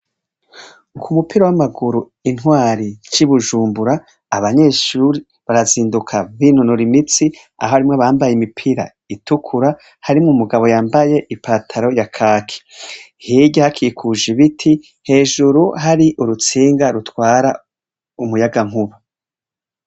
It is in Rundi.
Ku mupira w'amaguru intwari c'i Bujumbura, abanyeshuri barazinduka binonora imitsi, aho harimwo abambaye imipira itukura, harimwo umugabo yambaye ipataro ya kaki; hirya hakikuje ibiti, hejuru hari urutsinga rutwara umuyagankuba.